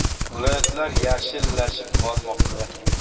Viloyatlar “yashil”lashib bormoqda.